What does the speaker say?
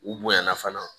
U bonyana fana